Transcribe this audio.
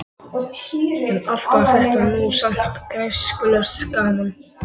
En allt var þetta nú samt græskulaust gaman.